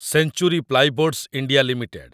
century Plyboards India limited